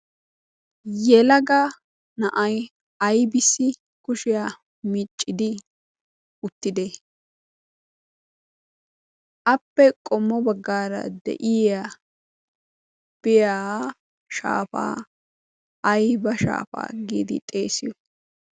yelaga na7ai aibissi kushiyaa miiccidi uttide? appe qommo baggaara de7iya biyaa shaafaa aiba shaafaa giidi xeesiyo?